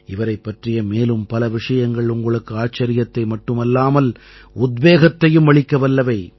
இவரைப் பற்றிய மேலும் பல விஷயங்கள் உங்களுக்கு ஆச்சரியத்தை மட்டுமல்லாமல் உத்வேகத்தையும் அளிக்க வல்லவை